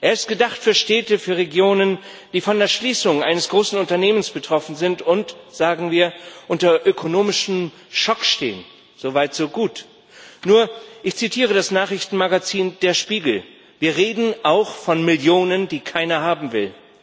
Er ist gedacht für Städte, für Regionen, die von der Schließung eines großen Unternehmens betroffen sind und, sagen wir, unter ökonomischem Schock stehen so weit so gut. Nur, ich zitiere das Nachrichtenmagazin Der Spiegel Wir reden auch von Millionen, die keiner haben will.